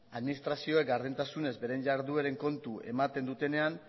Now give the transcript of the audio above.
administrazioek gardentasunez beren jardueren kontu ematen dutenean